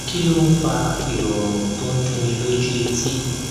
kí ló ń fa ìròrùn tó ń dunni lójú etí